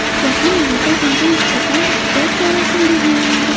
Yaqin orada unga nisbatan ehtiyot chorasi belgilanadi.